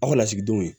Aw ka lasigidenw